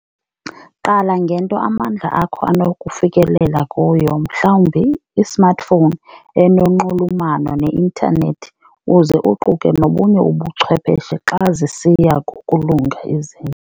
Qala ngento amandla akho anokufikelela kuyo mhlawumbi ismartphone enonxulumano ne-intanethi uze uquke nobunye ubuchwepheshe xa zisiya ngokulunga izinto.